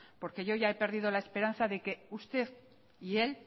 porque yo ya he perdido la esperanza de que usted y él